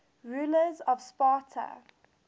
rulers of sparta